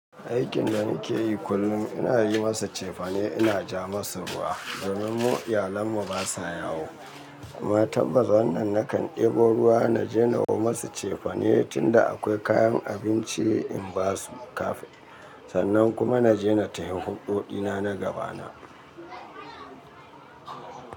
Aikin da nike yi kullum ina yi masa cefane, ina ja masa ruwa domin mu iyalen mu ba sa yawo. Matan bazwa nan nakan ɗebo ruwa na jeno masu cefane tunda akwai kayan abinci in ba su kafe sannan kuma na jeno tayin huɓoɗina na gaba na.